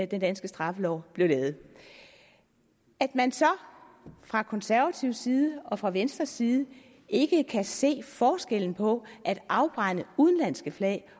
den danske straffelov blev lavet at man så fra konservatives side og fra venstres side ikke kan se forskellen på at afbrænde udenlandske flag